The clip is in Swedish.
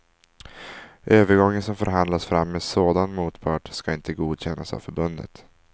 Övergång som förhandlas fram med sådan motpart ska inte godkännas av förbundet.